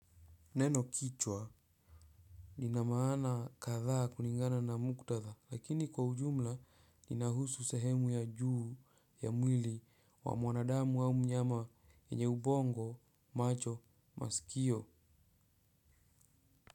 Neno kichwa lina maana kadhaa kulingana na muktadha lakini kwa ujumla linahusu sehemu ya juu ya mwili wa mwanadamu au mnyama yenye ubongo macho masikio.